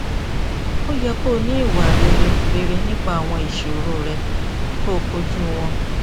o yẹ ki o ni iwa rere rere nipa awọn iṣoro rẹ ki o koju wọn